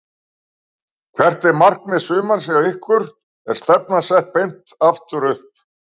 Hvert er markmið sumarsins hjá ykkur, er stefnan sett beint aftur upp?